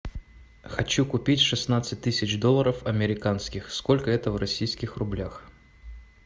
хочу купить шестнадцать тысяч долларов американских сколько это в российских рублях